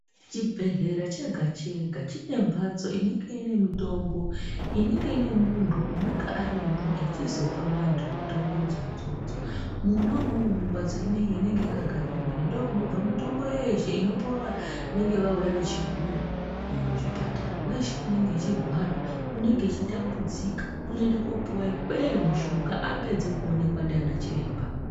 Chibhedlera chega chega, chinembatso inenge iine mitombo inenge iine munhu anenge arimo echizopa vantu mitombo idzodzodzo, mune nemumwe mumbatso munenge makagadzirwa ndokunobva mitombo yeshe inopiwa vanenge vawuya vechigula muzvipatara. Wese unenge uchirwara, unenge uchitambudzika unoenda kunopiwa ikweyo mishonga apedza kuwonekwa ndiana chiremba.